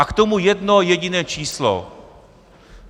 A k tomu jedno jediné číslo.